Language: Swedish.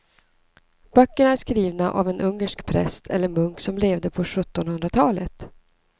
Böckerna är skrivna av en ungersk präst eller munk som levde på sjuttonhundratalet.